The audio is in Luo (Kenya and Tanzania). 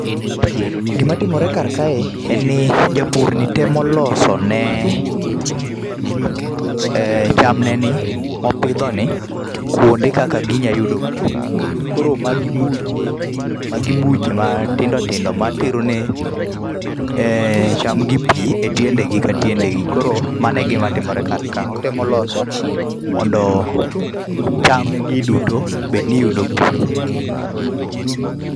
Gima timore karkae, en ni japurni temo losone um chamneni, mopidhoni, kuonde kaka ginyalo yudo pi. Koro magi buche, magi buche matindo tindo materone um chamgi pi e tiendegi ka tiendegi. Koro mane e gima timore karka. Otemo loso mondo, chamnegi duto bed ni yudo pi.